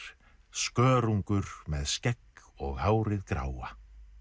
skörungur með skegg og hárið gráa